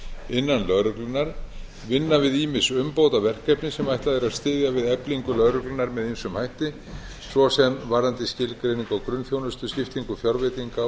innan lögreglunnar vinna við ýmis umbótaverkefni sem ætlað er að styðja við eflingu lögreglunnar með ýmsum hætti svo sem varðandi skilgreiningu á grunnþjónustu skiptingu fjárveitinga